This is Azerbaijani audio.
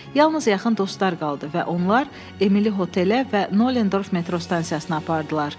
Yalnız yaxın dostlar qaldı və onlar Emili otelə və Nollendorf metro stansiyasına apardılar.